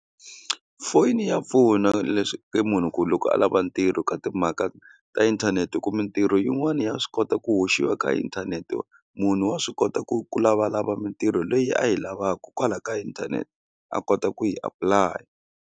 Foni ya pfuna munhu ku loko a lava ntirho ka timhaka ta inthanete hi ku mintirho yin'wana ya swi kota ku hoxiwa ka inthanete munhu wa swi kota ku ku lavalava mintirho leyi a yi lavaka kwalaya ka inthanete a kota ku yi apulaya.